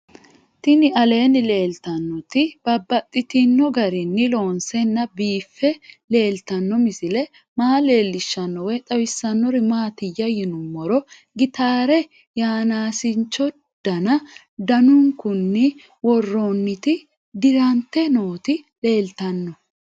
Tinni aleenni leelittannotti babaxxittinno garinni loonseenna biiffe leelittanno misile maa leelishshanno woy xawisannori maattiya yinummoro gitaarre yanaasincho danu danunkunni woroonnitti dirante nootti leelittanno